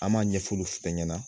An m'a ɲɛfulu fɛnɛ ɲɛna